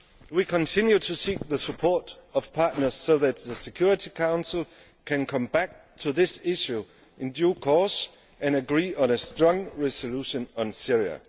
on. We continue to seek the support of partners so that the Security Council can come back to this issue in due course and agree on a strong resolution on Syria.